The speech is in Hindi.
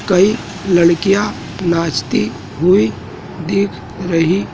कई लड़कियां नाचती हुई दिख रही--